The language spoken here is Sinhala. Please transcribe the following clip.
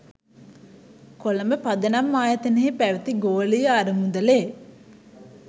කොළඹ පදනම් ආයතනයෙහි පැවැති ගෝලීය අරමුදලෙ